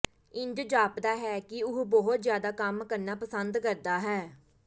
ਇੰਜ ਜਾਪਦਾ ਹੈ ਕਿ ਉਹ ਬਹੁਤ ਜ਼ਿਆਦਾ ਕੰਮ ਕਰਨਾ ਪਸੰਦ ਕਰਦਾ ਹੈ